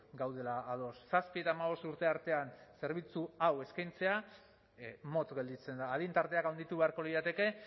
gaudela ados zazpi eta hamabost urte artean zerbitzu hau eskaintzea motz gelditzen da adin tarteak handitu beharko lirateke